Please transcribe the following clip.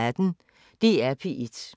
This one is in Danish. DR P1